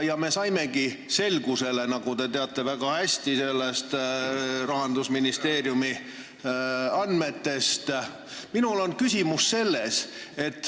Me saimegi selgusele, nagu te Rahandusministeeriumi andmetest väga hästi teate.